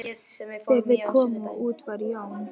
Þegar þeir komu út var Jón